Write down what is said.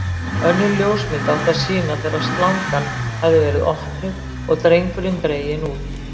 Önnur ljósmynd átti að sýna þegar slangan hafði verið opnuð og drengurinn dreginn út.